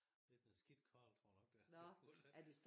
Lidt en skidt karl tror jeg nok det er der bor der